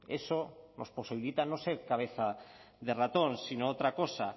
eso nos posibilita no ser cabeza de ratón sino otra cosa